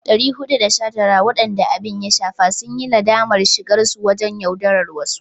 419 waɗanda abin ya shafa sun yi nadamar shigarsu wajen yaudarar wasu.